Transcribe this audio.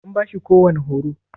An bashi kowani horo?